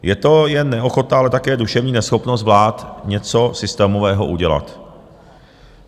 Je to jen neochota, ale také duševní neschopnost vlád něco systémového udělat.